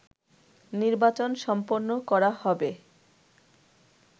নির্বাচন সম্পন্ন করা হবে